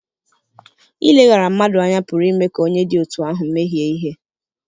Ileghara mmadụ anya pụrụ ime ka onye dị otú ahụ mehie ihe.